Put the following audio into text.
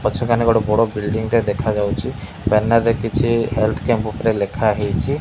ପଛକାନେ ଗୋଟେ ବଡ଼ ବିଲଡିଂ ଟେ ଦେଖାଯାଉଚି ବ୍ୟାନର ରେ କିଛି ହେଲଥ କ୍ୟାମ୍ପ ଉପରେ ଲେଖାହେଇଚି।